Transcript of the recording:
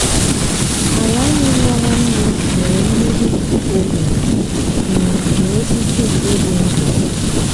ala nri nwa nwanne m nwere mmiri olulu um na osisi ndo dị nro.